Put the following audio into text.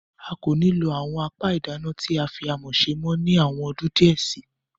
A kò ní lo àwọn apẹ ìdáná tí a fí amọ̀ ṣe mọ́ ni àwọn ọdún díẹ̀ síi.